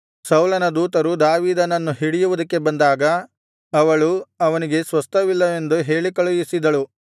ಸೌಲನ ದೂತರು ದಾವೀದನನ್ನು ಹಿಡಿಯುವುದಕ್ಕೆ ಬಂದಾಗ ಅವಳು ಅವನಿಗೆ ಸ್ವಸ್ಥವಿಲ್ಲವೆಂದು ಹೇಳಿಕಳುಹಿಸಿದಳು